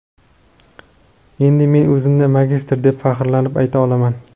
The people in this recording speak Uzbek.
Endi men o‘zimni magistr, deb faxrlanib ayta olaman.